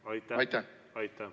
Aitäh!